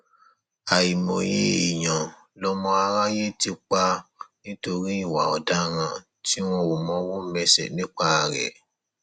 àìmọye èèyàn lọmọ aráyé ti pa nítorí ìwà ọdaràn tí wọn ò mọwọ mẹsẹ nípa rẹ